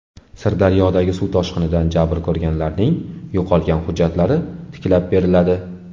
Sirdaryodagi suv toshqinidan jabr ko‘rganlarning yo‘qolgan hujjatlari tiklab beriladi.